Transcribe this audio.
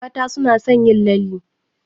Mata suna son yin lalle